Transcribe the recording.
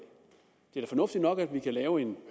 det er da fornuftigt nok at vi kan lave en